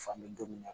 Fan bɛ don min na